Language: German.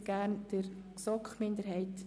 Nun erteile ich gerne der GSoK-Minderheit